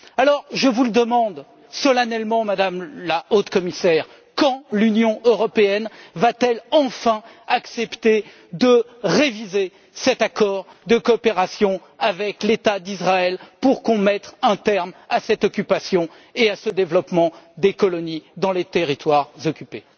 Alors, je vous le demande solennellement, Madame la Haute Représentante quand l'Union européenne va t elle enfin accepter de réviser cet accord de coopération avec l'État d'Israël pour qu'on mette un terme à cette occupation et à ce développement des colonies dans les territoires occupés?